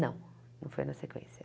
Não, não foi na sequência.